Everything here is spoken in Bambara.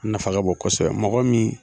O nafa ka bon kosɛbɛ mɔgɔ min